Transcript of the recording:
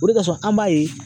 O de kasɔn an b'a ye.